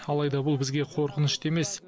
алайда бұл бізге қорқынышты емес